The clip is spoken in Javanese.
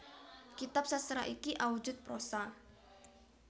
Kitab sastra iki awujud prosa